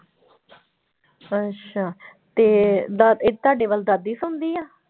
ਅੱਛਾ ਤੇ ਦ ਤੁਹਾਡੇ ਵੱਲ ਦਾਦੀ ਸੌਂਦੀ ਆ?